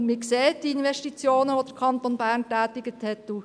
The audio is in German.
Man sieht die Investitionen, die der Kanton Bern getätigt hat.